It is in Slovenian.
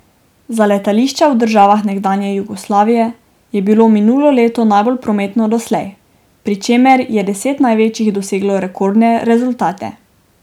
Za letališča v državah nekdanje Jugoslavije je bilo minulo leto najbolj prometno doslej, pri čemer je deset največjih doseglo rekordne rezultate.